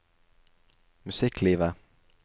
musikklivet